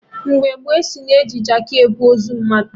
Mgbe gboo, asị na-eji Jaakị ebu ozu mmadụ